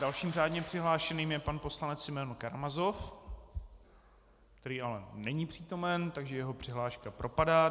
Dalším řádně přihlášeným je pan poslanec Simeon Karamazov, který ale není přítomen, takže jeho přihláška propadá.